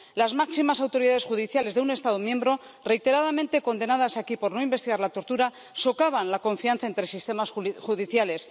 Las máximas autoridades judiciales de un Estado miembro, reiteradamente condenadas aquí por no investigar la tortura, socavan la confianza entre sistemas judiciales.